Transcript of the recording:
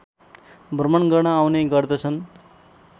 भ्रमण गर्न आउने गर्दछन्